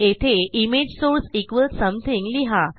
येथे image source equals something लिहा